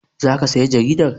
Za ka saya jaridar?